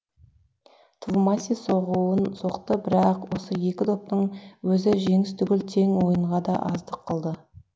твумаси соғуын соқты бірақ осы екі доптың өзі жеңіс түгіл тең ойынға да аздық қылды